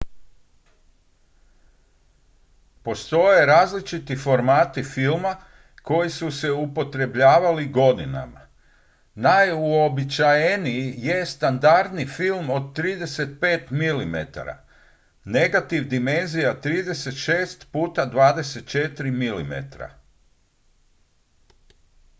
postoje različiti formati filma koji su se upotrebljavali godinama. najuobičajeniji je standardni film od 35 mm negativ dimenzija 36 puta 24 mm